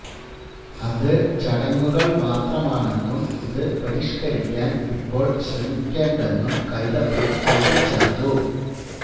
അത് ചടങ്ങുകള് മാത്രമാണെന്നും ഇത് പരിഷ്കരിക്കാന് ഇപ്പോള് ശ്രമിക്കേണ്ടെന്നും കൈതപ്രം കൂട്ടിച്ചേര്ത്തു